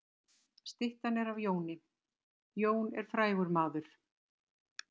Styttan er af Jóni. Jón er frægur maður.